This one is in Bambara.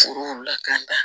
Foro lakan